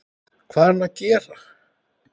Hvað er hann að gera?